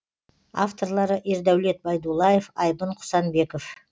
авторлары ердәулет байдуллаев айбын құсанбеков